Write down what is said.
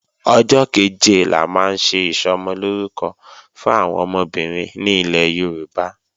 Ọjọ́ kẹ̀jẹ la máa ń ṣe Ìsọmọlórúkọ fún àwọn ọmọbìnrin ní ilẹ̀ Yorùbá